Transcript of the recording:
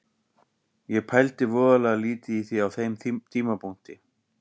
Ég pældi voðalega lítið í því á þeim tímapunkti.